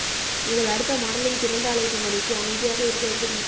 உங்கள் அடுத்த மாடலிங் திறந்த அழைப்பு மணிக்கு அமைதியாக இருக்க எப்படி